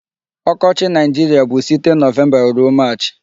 Ọkọchị Nigeria bụ site November ruo March.